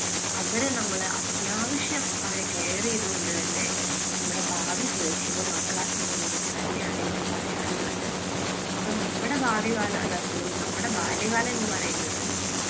അവരെ നമ്മളെ അത്യാവശ്യ അവരെ care ചെയ്തു കൊണ്ട് തന്നെ നമ്മുടെ ഭാവി സുരക്ഷിതമാക്കുക എന്നുള്ളത് തന്നെയാണ് എനിക്ക് പറയാനുള്ളത്. അപ്പോൾ നമ്മുടെ ഭാവി കാലം, അല്ല sorry നമ്മുടെ ബാല്യകാലം എന്ന് പറയുന്നത്